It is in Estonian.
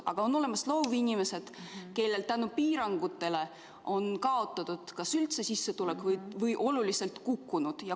Aga on olemas ka loovinimesed, kes piirangute tõttu on kas üldse kaotanud sissetuleku või on see oluliselt kukkunud.